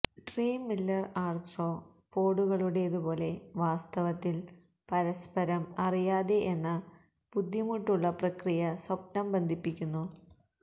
dream Miller ആർത്രോപോഡുകളുടേതുപോലെ വാസ്തവത്തിൽ പരസ്പരം അറിയാതെ എന്ന ബുദ്ധിമുട്ടുള്ള പ്രക്രിയ സ്വപ്നം ബന്ധിപ്പിക്കുന്നു